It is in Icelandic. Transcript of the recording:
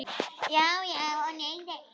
Já já og nei nei.